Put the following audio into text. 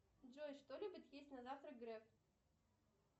джой что любит есть на завтрак грег